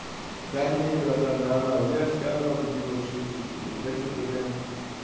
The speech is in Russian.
да не братан нормально я же сказал до девяносто шести доживу да что-то прямо